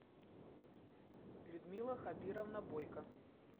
людмила хабировна бойко